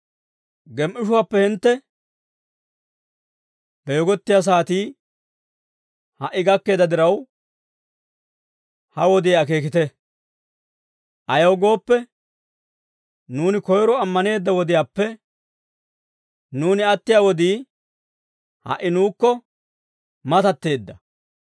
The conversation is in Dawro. Gem"ishuwaappe hintte beegottiyaa saatii ha"i gakkeedda diraw, ha wodiyaa akeekite. Ayaw gooppe, nuuni koyro ammaneedda wodiyaappe, nuuni attiyaa wodii ha"i nuukko matatteedda.